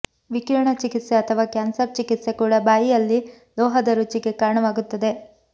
ವಿಕಿರಣ ಚಿಕಿತ್ಸೆ ಅಥವಾ ಕ್ಯಾನ್ಸರ್ ಚಿಕಿತ್ಸೆ ಕೂಡ ಬಾಯಿಯಲ್ಲಿ ಲೋಹದ ರುಚಿಗೆ ಕಾರಣವಾಗುತ್ತದೆ